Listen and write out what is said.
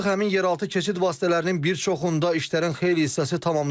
Artıq həmin yeraltı keçid vasitələrinin bir çoxunda işlərin xeyli hissəsi tamamlanıb.